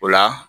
O la